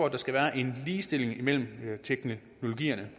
at der skal være en ligestilling mellem teknologierne